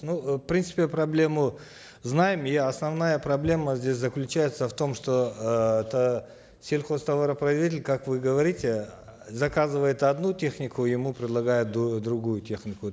ну э в принципе проблему знаем и основная проблема здесь заключается в том что э это сельхозтоваропроизводитель как вы говорите заказывает одну технику ему предлагают другую технику